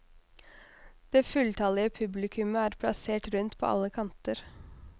Det fulltallige publikumet er plassert rundt på alle kanter.